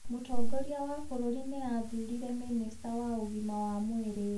Mũtongoria wa bũrũri nĩ arathurire minista wa ũgima wa mwĩrĩ.